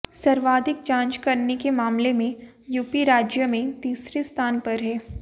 सर्वाधिक जांच करने के मामले में यूपी राज्य में तीसरे स्थान पर है